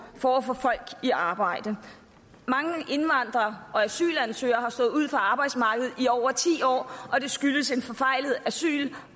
for at få folk i arbejde mange indvandrere og asylansøgere har stået uden for arbejdsmarkedet i over ti år og det skyldes en forfejlet asyl